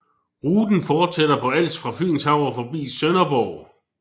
Ruten fortsætter på Als fra Fynshav og forbi Sønderborg